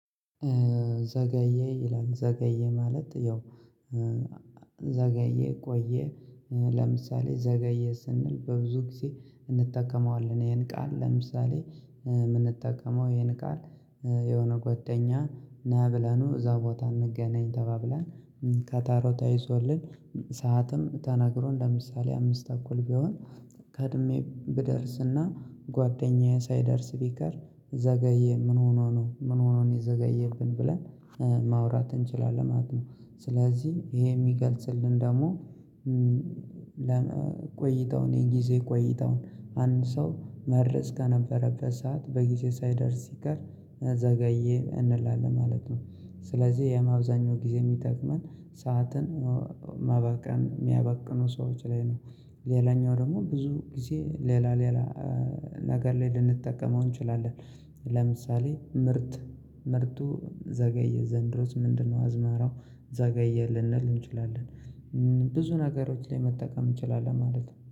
ዘገየ ይላል ዘገየ ማለት ያው ዘገየ ቆየ። ለምሳሌ ዘገየ ስንል በብዙ ጊዜ እንጠቀመዋለን ይሄን ቃል ለምሳሌ ምንጠቀመው ይሄን ቃል የሆነ ጓደኛ ና ብለነው እዛው ቦታ እንገናኝ ተባብለን ቀጠሮ ተይዞልን ሰዓትም ተናግሮ ለምሳሌ አምስት ተኩል ቢሆን ቀድሜ ብደርስና ጓደኛዬ ሳይደርስ ቢቀር ዘገየ ምን ሆኖ ነው ምን ሆኖ ነው የዘገየብን ብለን ማውራት እንችላለን ማለት ነው። ስለዚህ ይሄ የሚገልጽልን ደግሞ ለመቆይተው የጊዜ ቆይታውን አንድ ሰው መድረስ ከነበረበት ሰዓት በጊዜ ሳይደርስ ሲቀር ዘገየ እንላለን ማለት ነው። ስለዚህ የማብዛኛው ጊዜ የሚጠቅመን ሰዓትን ማባከን የሚያባክኑ ሰዎች ላይ ነው። ሌላኛው ደግሞ ብዙ ጊዜ ሌላ ሌላ ነገር ለይ ልንጠቀመው እንችላለን። ለምሳሌ ምርት ምርቱ ዘገየ ዘንድሮስ ምንድነው? አዝመራው ዘገየ ልንል እንችላለን ብዙ ነገሮች ላይ መጠቀም እንችላለን ማለት ነው